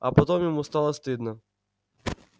а потом ему стало стыдно